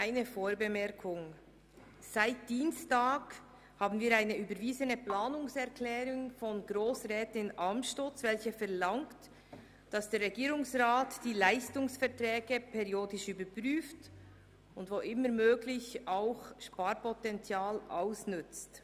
Eine Vorbemerkung: Seit Dienstag haben wir eine überwiesene Planungserklärung von Grossrätin Amstutz, welche verlangt, dass der Regierungsrat die Leistungsverträge periodisch überprüft und wo immer möglich Sparpotenzial ausnützt.